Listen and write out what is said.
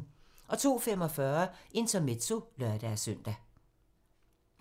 02:45: Intermezzo (lør-søn)